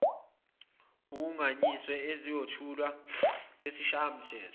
kungagunyaziwe esiyothulwa kwisishayamthetho